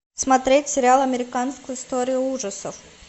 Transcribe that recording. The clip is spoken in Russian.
смотреть сериал американская история ужасов